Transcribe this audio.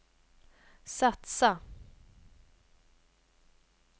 satsa